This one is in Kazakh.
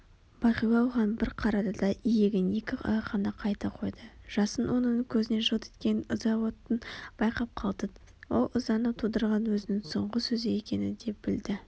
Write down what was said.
бағила оған бір қарады да иегін екі алақанына қайта қойды жасын оның көзінен жылт еткен ыза отын байқап қалды ол ызаны тудырған өзінің соңғы сөзі екенін де білді